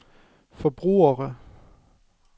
forbrugere